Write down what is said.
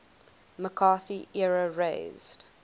mccarthy era raised